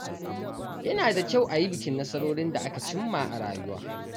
Yana da kyau a yi bikin nasarorin da aka cimma a rayuwa.